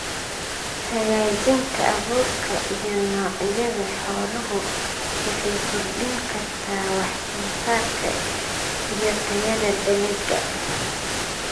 Hagaajinta abuurka iyo noocyada xooluhu waxay kordhin kartaa wax soo saarka iyo tayada dalagga.